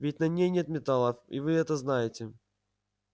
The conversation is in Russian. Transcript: ведь на ней нет металлов и вы это знаете